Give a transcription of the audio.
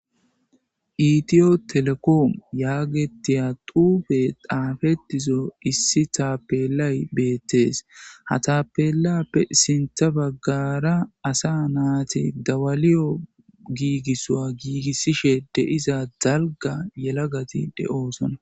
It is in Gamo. Itiyo telekoomu yaagetiya duufe xaafetizo issi taapelay beettees ha taapelappe sintha baggara asa naati dawaliyo giigissoa giigissishe deiza zalga yelagati de'oosona.